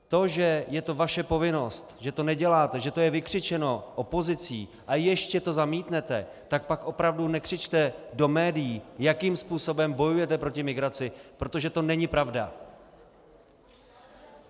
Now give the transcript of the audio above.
To, že je to vaše povinnost, že to neděláte, že to je vykřičeno opozicí, a ještě to zamítnete, tak pak opravdu nekřičte do médií, jakým způsobem bojujete proti migraci, protože to není pravda.